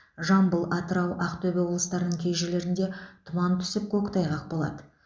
жамбыл атырау ақтөбе облыстарының кей жерлеріңде тұман түсіп көктайғақ болады